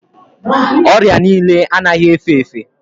Orịa niile anaghị efe efe